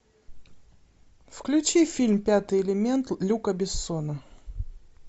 включи фильм пятый элемент люка бессона